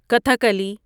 Kathakali